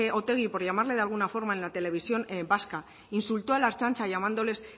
otegi por llamarle de alguna forma en la televisión vasca insultó a la ertzaintza llamándoles